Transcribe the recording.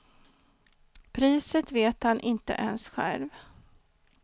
Priset vet han inte ens själv.